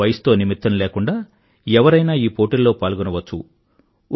వయసుతో నిమిత్తం లేకుండా ఎవరైనా ఈ పోటీల్లో పాల్గొనవచ్చు